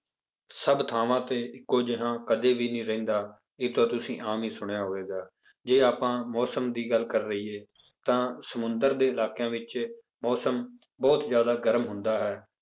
ਸਭ ਥਾਵਾਂ ਤੇ ਇੱਕੋ ਜਿਹਾ ਕਦੇ ਵੀ ਨਹੀਂ ਰਹਿੰਦਾ, ਇਹ ਤਾਂ ਤੁਸੀਂ ਆਮ ਹੀ ਸੁਣਿਆ ਹੋਵੇਗਾ, ਜੇ ਆਪਾਂ ਮੌਸਮ ਦੀ ਗੱਲ ਕਰ ਲਈਏ ਤਾਂ ਸਮੁੰਦਰ ਦੇ ਇਲਾਕਿਆਂ ਵਿੱਚ ਮੌਸਮ ਬਹੁਤ ਜ਼ਿਆਦਾ ਗਰਮ ਹੁੰਦਾ ਹੈ